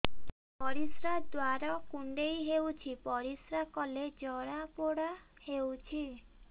ପରିଶ୍ରା ଦ୍ୱାର କୁଣ୍ଡେଇ ହେଉଚି ପରିଶ୍ରା କଲେ ଜଳାପୋଡା ହେଉଛି